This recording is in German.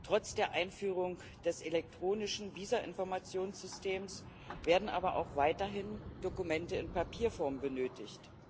Trotz der Einführung des elektronischen Visa Informationssystems werden aber auch weiterhin Dokumente in Papierform benötigt.